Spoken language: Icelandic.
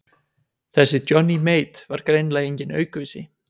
Þessi Johnny Mate var greinilega enginn aukvisi.